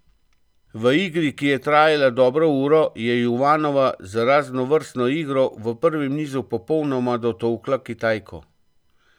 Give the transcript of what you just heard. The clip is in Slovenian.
V igri, ki je trajala dobro uro, je Juvanova z raznovrstno igro v prvem nizu popolnoma dotolkla Kitajko.